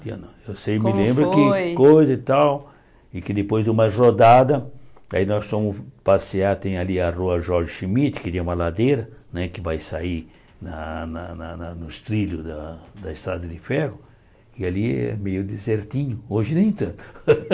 O dia não eu sei me lembro Qual foi Que coisa e tal e que depois de umas rodadas, aí nós fomos passear, tem ali a rua Jorge Schmidt, que tem uma ladeira né que vai sair na na nos trilhos da Estrada de Ferro, e ali é meio desertinho, hoje nem tanto.